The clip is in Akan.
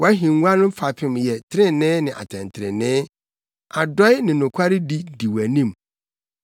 Wʼahengua no fapem yɛ trenee ne atɛntrenee; adɔe ne nokwaredi di wʼanim.